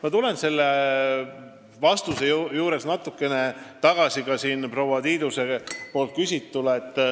Ma lähen oma vastuses natuke tagasi ka proua Tiiduse küsimuse juurde.